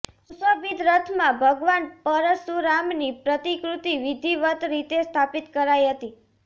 સુશોભિત રથમાં ભગવાન પરશુરામની પ્રતિકૃતિ વિધિવત રીતે સ્થાપિત કરાઇ હતી